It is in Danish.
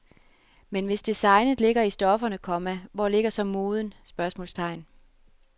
Men hvis designet ligger i stofferne, komma hvor ligger så moden? spørgsmålstegn